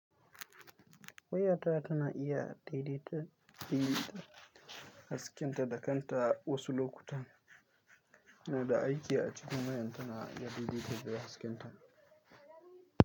Wayata tana iya daidaita haskenta da kanta wasu lokutan ina da aiki a cikin wayan tana daidaita haskenta.